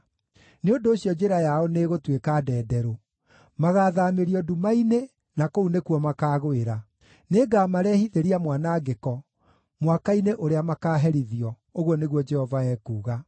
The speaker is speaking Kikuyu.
“Nĩ ũndũ ũcio njĩra yao nĩĩgũtuĩka ndenderũ; magaathaamĩrio nduma-inĩ, na kũu nĩkuo makaagũĩra. Nĩngamarehithĩria mwanangĩko mwaka-inĩ ũrĩa makaaherithio,” ũguo nĩguo Jehova ekuuga.